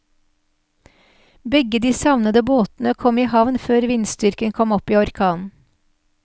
Begge de savnede båtene kom i havn før vindstyrken kom opp i orkan.